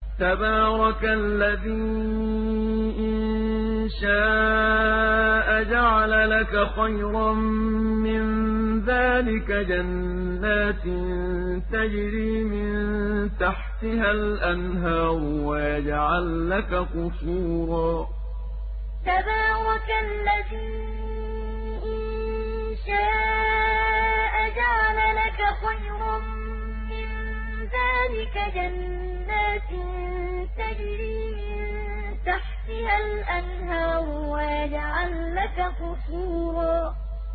تَبَارَكَ الَّذِي إِن شَاءَ جَعَلَ لَكَ خَيْرًا مِّن ذَٰلِكَ جَنَّاتٍ تَجْرِي مِن تَحْتِهَا الْأَنْهَارُ وَيَجْعَل لَّكَ قُصُورًا تَبَارَكَ الَّذِي إِن شَاءَ جَعَلَ لَكَ خَيْرًا مِّن ذَٰلِكَ جَنَّاتٍ تَجْرِي مِن تَحْتِهَا الْأَنْهَارُ وَيَجْعَل لَّكَ قُصُورًا